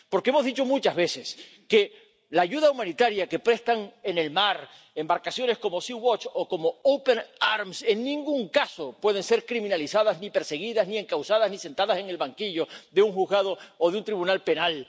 Porque hemos dicho muchas veces que la ayuda humanitaria que prestan en el mar embarcaciones como Sea Watch o como Open Arms en ningún caso puede ser criminalizada ni pueden esas personas ser perseguidas ni encausadas ni sentadas en el banquillo de un juzgado o de un tribunal penal.